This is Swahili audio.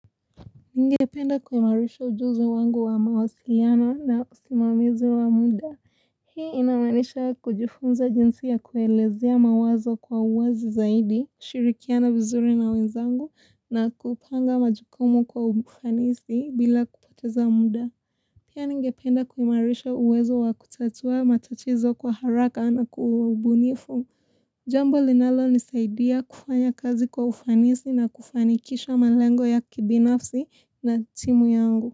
Ningependa kuimarisha ujuzi wangu wa mawasiliano na usimamizi wa muda. Hii inamaanisha kujifunza jinsi ya kuelezea mawazo kwa uwazi zaidi, shirikiana vizuri na wenzangu na kupanga majukumu kwa ufanisi bila kupoteza muda. Pia ningependa kuimarisha uwezo wa kutatua matatizo kwa haraka na kwa ubunifu. Jambo linalonisaidia kufanya kazi kwa ufanisi na kufanikisha malengo ya kibinafsi na timu yangu.